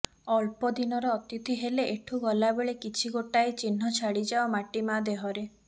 ଅଳ୍ପ ଦିନର ଅତିଥି ହେଲେ ଏଠୁ ଗଲାବେଳେ କିଛି ଗୋଟାଏ ଚିହ୍ନ ଛାଡ଼ିଯାଅ ମାଟି ମାଆ ଦେହରେ